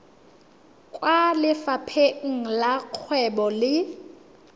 kwa lefapheng la dikgwebo le